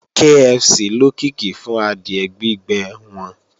KFC lókìkí fún adìẹ gbígbẹ́ wọn